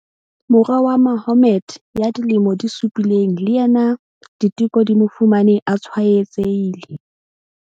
Mora wa Mahommed ya dilemo di supileng le yena diteko di mo fumane a tshwaetsehile.